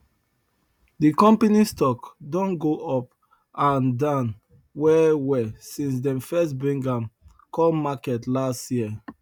the company stock don go up and down well well since them first bring am come market last year